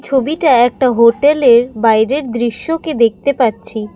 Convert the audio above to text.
ছবিটা একটা হোটেলের বাইরের দৃশ্যকে দেখতে পাচ্ছি।